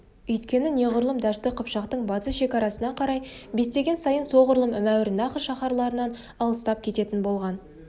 өйткені неғұрлым дәшті қыпшақтың батыс шекарасына қарай беттеген сайын соғұрлым мауреннахр шаһарларынан алыстап кететін болған